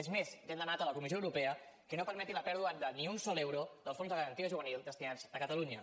és més ja hem demanat a la comissió europea que no permeti la pèrdua de ni un sol euro dels fons de garantia juvenil destinats a catalunya